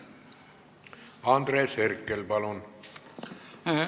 Andres Herkel, palun!